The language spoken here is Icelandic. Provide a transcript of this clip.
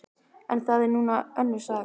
En það er nú önnur saga.